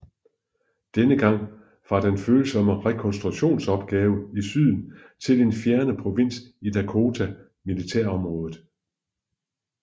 Denne gang fra den følsomme rekonstruktionsopgave i Syden til den fjerne provins i Dakota Militærområdet